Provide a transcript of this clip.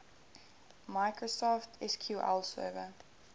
microsoft sql server